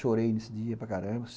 Chorei nesse dia para caramba.